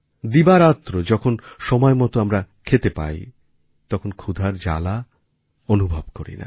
দিবারাত্র যখন সময়মতো আমরা খেতে পাই তখন ক্ষুধার জ্বালা অনুভব করিনা